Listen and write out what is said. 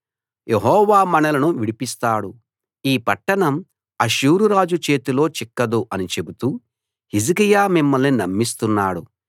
యెహోవా మనలను విడిపిస్తాడు ఈ పట్టణం అష్షూరు రాజు చేతిలో చిక్కదు అని చెబుతూ హిజ్కియా మిమ్మల్ని నమ్మిస్తున్నాడు